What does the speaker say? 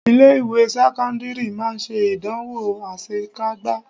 Ilé ìwé sẹ́kọ́ńdírì máa ṣe ìdánwò asekágbá